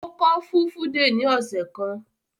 Ó kọ́ Fulfude ní ọ̀sẹ̀ kan?